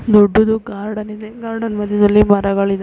ದೊಡ್ಡುದು garden ಇದೆ garden ಮದ್ಯದಲ್ಲಿ ಮರಗಳಿದ್ದಾ --